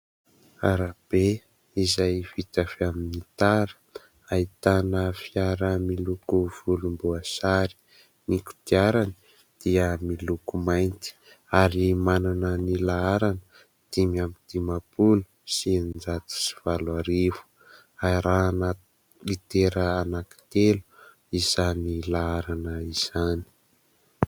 Arabe izay vita avy amin'ny tara. Ahitana fiara miloko volomboasary. Ny kodiarany dia miloko mainty ary manana ny laharana dimy amby dimampolo sy eninjato sy valo arivo. Arahana litera anankitelo izany laharana izany.